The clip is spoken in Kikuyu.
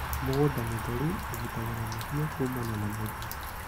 Mũgũnda mũtheru ũgitagĩra mahiũ kuumana na mĩrimũ.